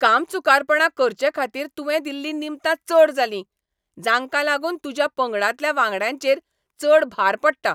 कामचुकारपणा करचेखातीर तुवें दिल्लीं निमतां चड जालीं, जांकां लागून तुज्या पंगडांतल्या वांगड्यांचेर चड भार पडटा.